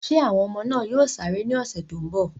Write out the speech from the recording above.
Ṣé àwọn ọmọ náà yóò sáré ní ọ̀sẹ̀ tó ń bọ̀?